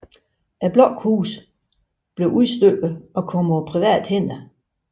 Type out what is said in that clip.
Blokhusene blev udstykket og kom på private hænder